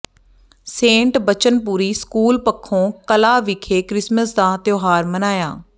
Saint Bachanpuri school Pakhon Kalan ਵਿਖੇ Christmas ਦਾ ਤਿਉਹਾਰ ਮਨਾਇਆ